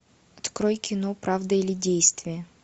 открой кино правда или действие